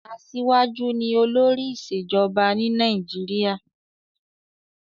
Aṣíwájú ni olórí ìṣèjọba ní Nàìjíríà.